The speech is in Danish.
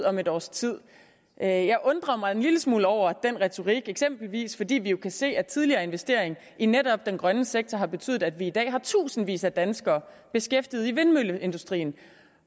ud om et års tid jeg undrer mig en lille smule over den retorik eksempelvis fordi vi jo kan se at tidligere investering i netop den grønne sektor har betydet at vi i dag har tusindvis af danskere beskæftiget i vindmølleindustrien